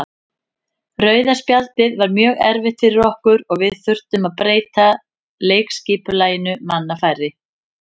Rauða spjaldið var mjög erfitt fyrir okkur og við þurftum að breyta leikskipulaginu manni færri.